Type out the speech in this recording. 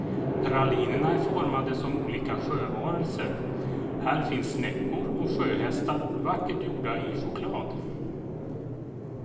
Pralinerna är formade som olika sjövarelser, här finns snäckor och sjöhästar vackert gjorda i choklad.